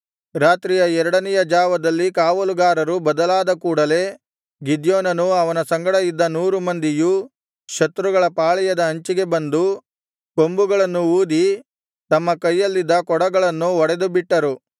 ರಾತ್ರಿಯ ಎರಡನೆಯ ಜಾವದಲ್ಲಿ ಕಾವಲುಗಾರರು ಬದಲಾದ ಕೂಡಲೆ ಗಿದ್ಯೋನನೂ ಅವನ ಸಂಗಡ ಇದ್ದ ನೂರು ಮಂದಿಯೂ ಶತ್ರುಗಳ ಪಾಳೆಯದ ಅಂಚಿಗೆ ಬಂದು ಕೊಂಬುಗಳನ್ನು ಊದಿ ತಮ್ಮ ಕೈಯಲ್ಲಿದ್ದ ಕೊಡಗಳನ್ನು ಒಡೆದುಬಿಟ್ಟರು